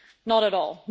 Not at all.